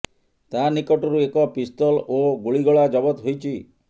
ତା ନିକଟରୁ ଏକ ପିସ୍ତଲ ଓ ଗୁଳିଗୋଳା ଜବତ ହୋଇଛି